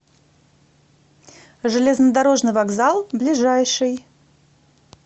железнодорожный вокзал ближайший